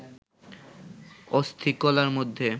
অস্থিকলার মধ্যে